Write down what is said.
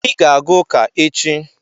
Ị ga-aga ụka echi.